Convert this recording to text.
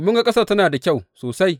Mun ga ƙasar tana da kyau sosai.